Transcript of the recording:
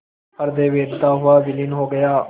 हृदय वेधता हुआ विलीन हो गया